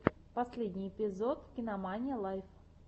последний эпизод кинамания лайв